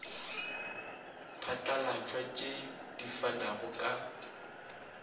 phatlalatšwa tšei di fanago ka